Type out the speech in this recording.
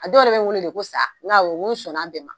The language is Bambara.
A dɔw yɛrɛ bɛ wele de ko sa n ko awɔ, nkɔ sɔnna a bɛɛ ma.